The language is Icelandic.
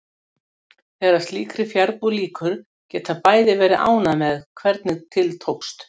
Byrjaðu að skrifa til að vita hvort plottið kemur ekki til þín, ráðleggur hún.